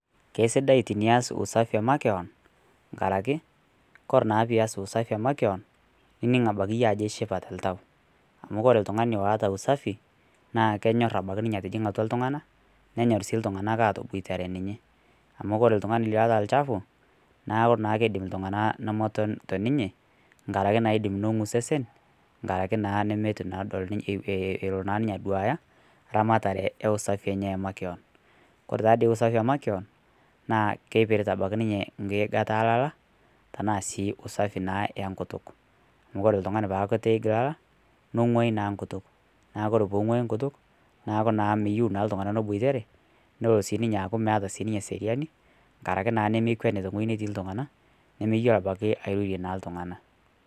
Kesidai tinias usafi emakeon ng'araki kore na pii eas usafi emakeon idiing' abaki iyie ajo ishipaa te ntauu amu kore ltung'ani oata usafi kenyoor abaki ninye atijing'a atua ltung'ana nenyoor sii ltung'anak atobuatere ninye , amu kore ltung'ani loota lchafu naaku naa keidiim iltung'ana nomotoon toninye. Nga'araki nang'uu sesen ng'araki naa natuu eloo naa ninye aduaya ramatare e usafi enye emakeon. Kore taa dei usafi emakeon naa keipirita ninye nkiigaata e lyaya, tana sii usafi naa enkutuk. Amu kore ltung'a paa atuu iij laala neng'oii naa nkutuuk. Naaku kore pee ing'oi nkutuuk naaku naa meiyeu naa ltung'ana neibuatare , leloo naa ninye aaku meeta serian ng'araki naa nemeekweni te nkojii natii ltung'ana nimeyoo abaki airorie naa ltung'ana.